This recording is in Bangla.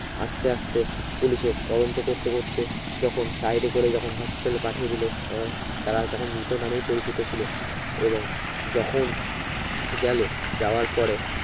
আসতে আসতে পুলিশের তদন্ত করতে করতে যখন side করে যখন Hospital পাঠিয়ে দিলো এর তারা তখন মৃত্য নালি পরিচিত ছিলো এবং যখন গেলো যাওয়ার পরে